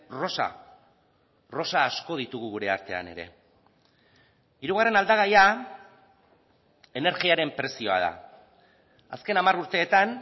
rosa rosa asko ditugu gure artean ere hirugarren aldagaia energiaren prezioa da azken hamar urteetan